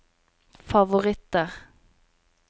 favoritter